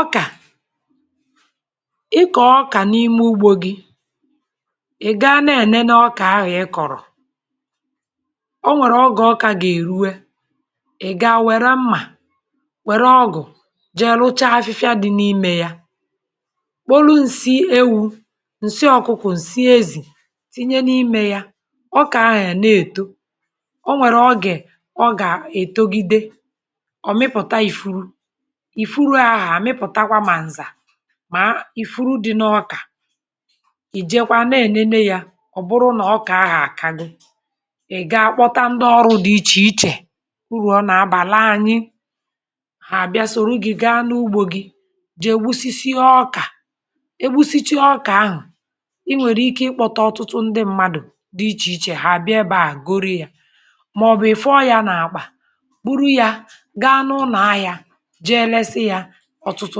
Ọka. ịkọ̀ọ ọka n’ime ụgbȯ gị, ị̀ gaa na-enene ọka ahụ̀ ị kọ̀rọ̀. Ọ nwere ọga ọka ga-erụe ị̀ ga-were mma were ọgụ̀ je lụcha afịfịa dị n’ime ya. Kpọlụ ǹsị ewu̇, ǹsị ọ̀kụkụ̀, ǹsị ezì tinye n’ime ya ọka ahụ̀ a na-etọ. Ọ nwere ọge ọ ga-etọgide ọ̀ mịpụ̀ta ìfụrụ. ịfụrụ aha amipụtakwa ma nza ma ịfụrụ dị n’ọka. Ì jekwaa n’enene ya, ọ bụrụ na ọka ahụ̀ akagọ. Ị̀ gaa kpọta ndị ọrụ dị iche iche, ụrụ ọ na-abalị anyị, ha abịa sọrọ gị gaa n’ụgbȯ gị, jee gbụsisi ya ọka egbụsiche ọka ahụ̀ i nwere ike ịkpọta ọtụtụ ndị mmadụ̀ dị iche iche ha abịa ebe a, gọrụ ya maọ̀bụ̀ ị̀ fụọ ya n’akpa, bụrụ ya ga n'ụna ahịa, jee lesi ya ọ̀tụtụ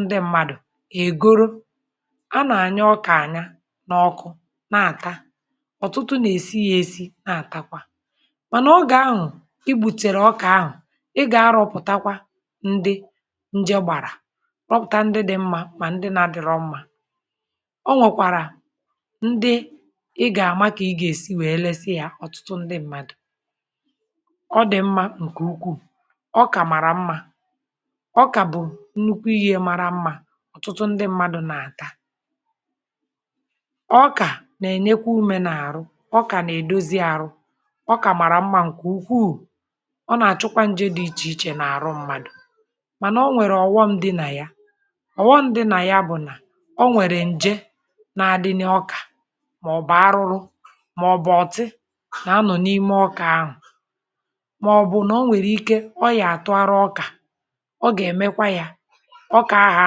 ndị mmadụ̀, ha egọrọ. A na-anya ọka anya n’ọkụ̇ na-ata, ọ̀tụtụ na-esi ya esi na-atakwa. Mana ọge ahụ̀ i gbùtere ọka ahụ̀, ị ga-arụ̇pụ̀takwa ndị nje gbara rọpụ̀ta ndị dị̇ mma ma ndị na-adịrọ mma. Ọ nwekwara ndị ị ga-ama ka ị ga-esi wee lesị ya ọ̀tụtụ ndị mmadụ̀. Ọ dị̇ mma ǹke ụkwụù. Ọka mara mma, ọka bụ nnụkwụ ihe mara mma ọ̀tụtụ ndị mmadụ̀ na-ata. Ọka na-enyekwa ụme n’arụ, ọka na-edọzi arụ, ọka mara mma ǹke ụkwụụ. Ọ na-achụkwa nje dị iche iche n’arụ mmadụ̀ mana ọ nwere ọ̀ghọm di na ya. Ọ̀ghọm di na ya bụ̀ na ọ nwere ǹje na-adịnị ọka maọbụ̀ arụrụ maọbụ̀ ọ̀tị na-anọ̀ n’ime ọka ahụ̀ maọbụ̀ na ọ nwere ike ọ ya-atụ arụ ọka, ọ ga emekwa ya ọka ahụ̀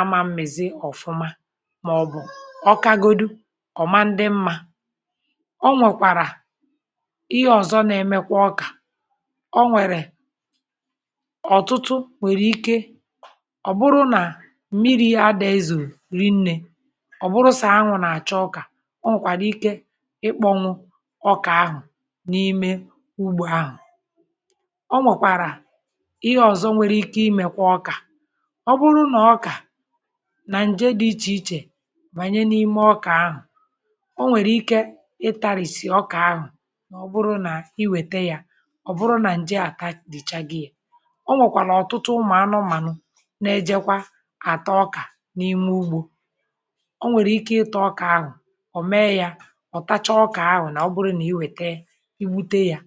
ama m̀mịzi ọ̀fụma maọ̀bụ̀ ọkagọdụ ọ̀ ma ndị mma. Ọ nwekwara ihe ọ̀zọ na-emekwa ọka, ọ nwere ọ̀tụtụ nwere ike ọ̀ bụrụ na mmiri̇ adị̀ ezọ rinne, ọ̀ bụrụ so anwụ̇ na-acha ọka, ọ nwekwara ike ịkpọnwụ ọka ahụ̀ n’ime ụgbȯ ahụ̀. Ọ nwekwara ihe ọ̀zọ nwere ike ime kwa ọka, ọ bụrụ na ọka na ǹje dị̇ iche iche banye n'ime ọka ahụ̀, ọ nwere ike ị tarìsì ọka ahụ̀ na ọ bụrụ na iwete ya ọ̀ bụrụ na ǹje ata dị̀ chaghi ya. Ọ nwekwala ọ̀tụtụ ụmụ̀ anụ̀manụ ná-éjékwá ata ọka n’ime ụgbȯ. Ọ nwere ike ịta ọka ahụ̀ ọ̀ mee ya ọ̀ tacha ọka ahụ̀ na ọ bụrụ na iwete igbute ya.